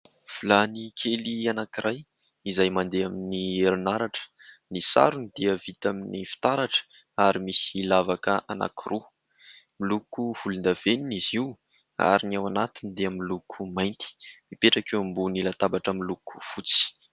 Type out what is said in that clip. Vilany kely anankiray izay mandeha amin'ny herinaratra, ny sarony dia vita amin'ny fitaratra ary misy lavaka anankiroa, miloko volondavenona izy io ary ny ao anatiny dia miloko mainty mipetraka eo ambony latabatra miloko fotsy.